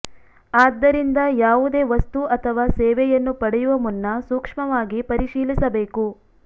ಆದ್ದರಿಂದ ಯಾವುದೇ ವಸ್ತು ಅಥವಾ ಸೇವೆಯನ್ನು ಪಡೆಯುವ ಮುನ್ನ ಸೂಕ್ಮವಾಗಿ ಪರಿಶೀಲಿಸಬೇಕು